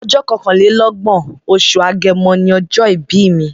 Ọjọ́ kọkànlélọ́gbọ̀n, oṣù Agẹmọ ni ọjọ́ ìbí mi.